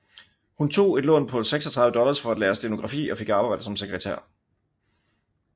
Hun tog et lån på 36 dollars for at lære stenografi og fik arbejde som sekretær